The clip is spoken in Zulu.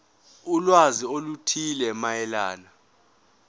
ulwazi oluthile mayelana